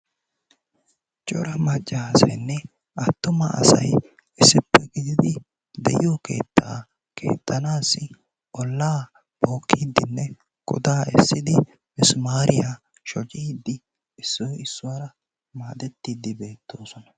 Cora macca asaynne attuma asay issippe gidiidi de'iyoo keettaa keexxanasi ollaa bookkidinne godaa essiidi misimaariyaa shooccidi issoy issuwaara madettiidi beettoosona.